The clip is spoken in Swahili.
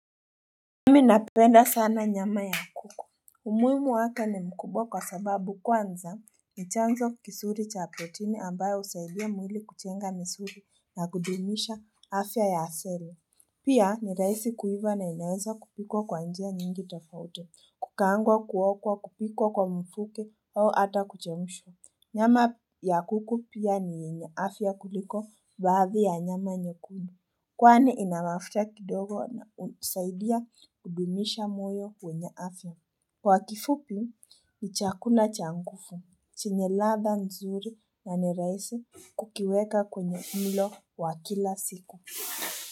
Mimi napenda sana nyama ya kuku umuhimu wake ni mkubwa kwa sababu kwanza ni chanzo kizuri cha protini ambayo husaidia mwili kujenga misuri na kudumisha afya ya asili Pia ni rahisi kuiva na inaweza kupikwa kwa njia nyingi tafauti kukaangwa kuokwa kupikwa kwa mfuke au ata kuchemshwa Nyama ya kuku pia ni yenye afya kuliko baadhi ya nyama nyekundu Kwani ina mafuta kidogo na husaidia kudumisha moyo wenye afya Kwa kifupi ni chakula cha nguvu chenye ladha nzuri na ni rahisi kukiweka kwenye mlo wa kila siku.